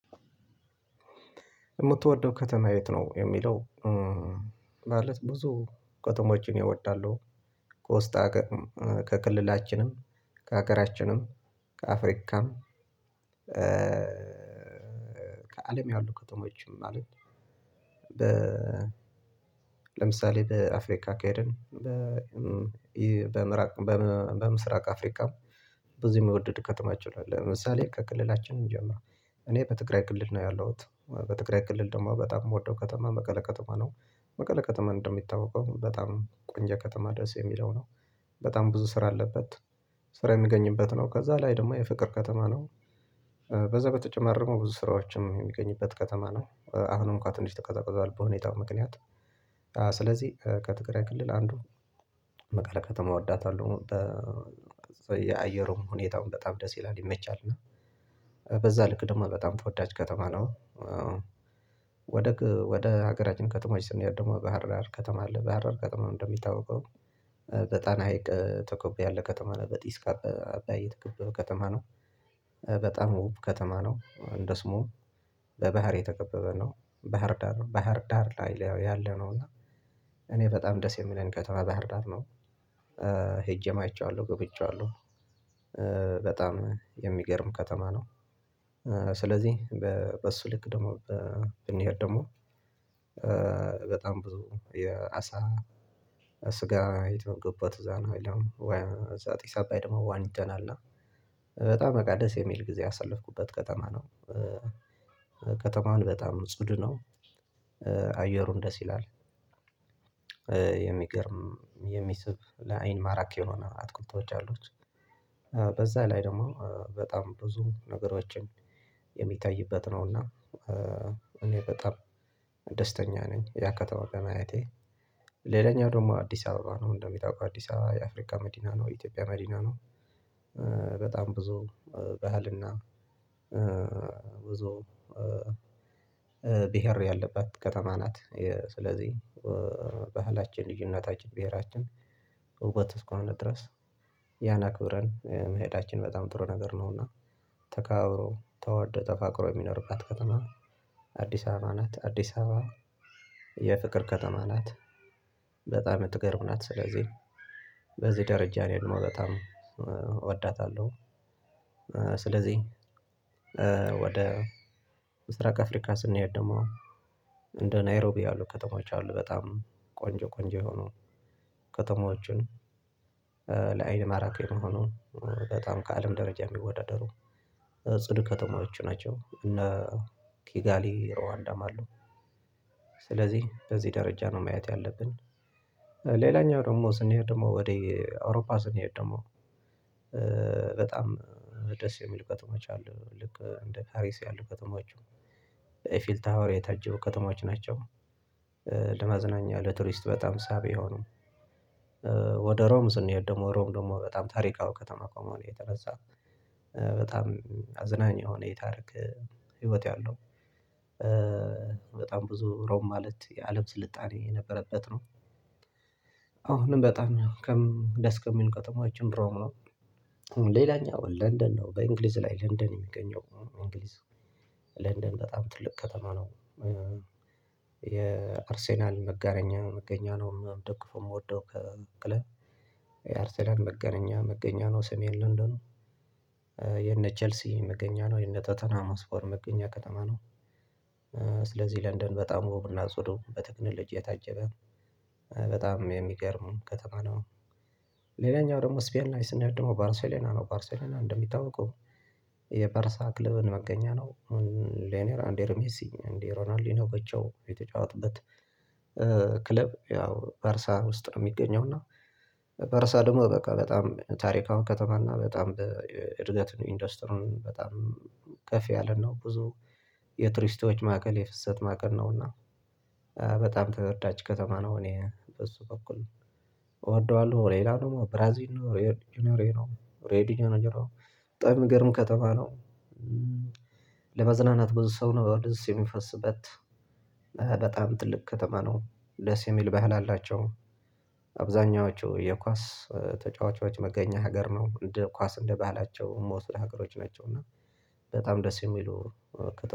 የምትወደው ከተማ የት ነው የሚለው? ማለት ብዙ ከተሞችን እወዳለሁ ከውስጥ ከክልላችንም ከሀገራችንም ከአፍሪካም ከአለም ያሉ ከተማዎችን ማለት። በ ለምሳሌ በአፍሪካ ካየን በ በምራቅ በምስራቅ አፍሪካም ብዙ የሚወድድ ከተማችሁ አለ። ለምሳሌ ከክልላችን እንጀምር እኔ በትግራይ ክልል ነው ያለሁት በትግራይ ክልል ደግሞ በጣም የምወደው ከተማ መቀለ ከተማ ነው። መቀለ ከተማ እንደሚታወቀው በጣም ቆንጆ ከተማ ደስ የሚለው ነው። በጣም ብዙ ስራ አለበት። ስራ የምገኝበት ነው ከዛ ላይ ደግሞ የፍቅር ከተማ ነው። በዛ በተጨማሪ ደግሞ ብዙ ስራዎችም የሚገኝበት ከተማ ነው አሁንም እንኳን ትንሽ ተቀዛቀዟል በሁኔታው ምክንያት። ስለዚህ ከትግራይ ክልል አንዱ መቀሌ ከተማ እወዳታለሁ የአየሩም ሁኔታውን በጣም ደስ ይላል ይመቻል። እና በዛ ልክ ደግሞ በጣም ተወዳች ከተማ ነው። ወደ ወደ ሀገራችን ከተማዎች ስንሄድ ደግሞ ባህርዳር ከተማ አለ ባህርዳር ከተማ እንደሚታወቀው በጣና ሀይቅ ተኮብ ያለ ከተማ ነው። በጢስ አባይ የተከበበ ከተማ ነው። በጣም ውብ ከተማ ነው። እንደ ስሙም በባህር የተከበበ ነው ባህር ዳር ባህር ዳር ላይ ያለ ነው። እና እኔ በጣም ደስ የሚለኝ ከተማ ባህር ዳር ነው። ሄጄም አይቼዋለሁ ጎብኝቼዋለሁ። በጣም የሚገርም ከተማ ነው። ስለዚህ በእሱ ልክ ደግሞ ብንሄድ ደሞ በጣም ብዙ የአሳ ስጋ የተመገብኩት እዛ ነው ወይ ወይ ዛት ጢስ አባይ ደግሞ ዋኝተናልና በጣም በቃ ደስ የሚል ጊዜ ያሳለፍኩበት ከተማ ነው። ከተማውን በጣም ጽድ ነው። አየሩን ደስ ይላል። የሚገርም የሚስብ ለአይን ማራኪ የሆነ አትኩልትቶች አሉት በጫሎች በዛ ላይ ደግሞ በጣም ብዙ ነገሮችን የሚታይበት ነውና። እኔ በጣም ደስተኛ ነኝ ያን ከተማ ማየቴ። ሌላኛው ደግሞ አዲስ አበባ ነው እንደሚታወቀው አዲስ አበባ የአፍሪካ መዲና ነው የኢትዮጵያ መዲና ነው። በጣም ብዙ ባህል እና ብዙ ብሄር ያለባት ከተማ ናት። ስለዚህ ባህላችን ልጅ እናታችን ብሄራችን ውበት እስከ ሆነ ድረስ ያን አክብረን መሄዳችን በጣም ጥሩ ነገር ነውና። ተካባብሮ ተወደው ተፋቅሮ የሚኖርባት ከተማ አዲስ አበባ ናት። አዲስ አበባ የፍቅር ከተማ ናት። በጣም የምትገርም ናት ስለዚህ በዚህ ደረጃ ነው የምወደው እወዳታለሁ። ስለዚህ ወደ ምስራቅ ከአፍሪካ ስንሄድ ደግሞ እንደ ናይሮቢያ ያአሉ ከተሞች አሉ በጣም ቆንጆ ቆንጆ የሆኑ ከተማዎች አሉ። ለአይን ማራኪን የሆኖኑ በጣም ከአለም ደረጃ የሚወዳደሩ ጽዱ ከተማዎች ናቸው። እነ ኪጋሊ ርዋንዳ ም አሉ ስለዚህ በዚህ ደረጃ ነው ማየት ያለብን። ሌላኛው ደግሞ ስንሄድ ደግሞ ወደ አውሮፓ ስንሄድ ደግሞ በጣም ደስ የሚል ከተሞች አሉ ልክ እንደ ፓሪስ ያሉ ከተሞች ፊል ታወር የታጀቡ ከተሞች ናቸው። ለመዝናኛ ለቱሪስት በጣም ሳቢ የሆኑ ወደ ሮም ስንሄድ ደግሞ ሮም ደግሞ በጣም ታሪካዊ ከተማ ከመሆኑ የተነሳ በጣም አዝናኝ የሆነ የታሪክ ህይወት ያለው በጣም ብዙ ሮም ማለት የአለም ስልጣኔ የነበረበት ነው። አሁንም በጣም ከምን ደስ ከሚሉ ከተሞች አንዱ ሮም ነው። ሌላኛው ለንደን ነው በእንግሊዝ ላይ ለንደን የሚገኘው እንግሊዝ ለንደን በጣም ትልቅ ከተማ ነው። የአርሴናል መጋረኛ መገኘት ነው እኔ የምደግፈው እኔ የምወደው ክለብ አርሰናል መጋኛ መገኘት ነው ስሜን ለንደኑ የነ ቼልሲ መገኛ ነው የቶተናም ሆትስፐር መገኛ ከተማ ነው። ስለዚህ ለንደን በጣም ውብ እና ጽዱ በቴክኖሎጂ የታጀበ በጣም የሚገርም ከተማ ነው። ሌላኛው ደግሞ ስፔን ላይ ስንሄድ ደግሞ ባርሴሎና ነው ባርሴሎና እንደሚታወቀው የባርሳ ክለብን መገኘት ነው። ሌኔር አንዴር ሜሲ አንዴሮ ሮናሊንዲኖ በቸው የተጫወትበት ክለብ ያው ባርሳ ውስጥ ነው የሚገኘው። እና ባርሳ ደግሞ በቃ በጣም ታሪካዊ ከተማ እና በጣም እድገት ኢንዱስትሪው በጣም ከፍ ያለ ነው ብዙ የቱሪስቶች ማዕቀል የፍሰት ማዕከል ነውና። በጣም ተወዳጅ ከተማ ነው። እኔ በሱ በኩል እወደዋለሁ። በሌላም ደገሞ ብራዚል የሲኒቨስ ጅኒዮር ነው ሬድ ነው ሬድ ነው በጣም የሚገርም ከተማ ነው። ለመዝናናት ብዙ ሰው ነው ወደዚህ የሚፈስበት በጣም ጥልቅ ከተማ ነው። ደስ የሚል ባህል አላቸው። አብዛኛዎቹ የኳስ ተጫዋቾች መገኛ ሀገር ነው እንደ ኳስ እንደባህላቸው የምወስደው ሀገሮች ናቸው። እና በጣም ደስ የሚሉ